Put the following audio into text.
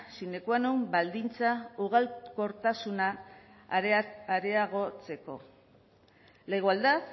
sine qua non baldintza ugalkortasuna areagotzeko la igualdad